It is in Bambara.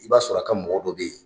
I b'a sɔrɔ a ka mɔgɔ dɔ bɛ yen!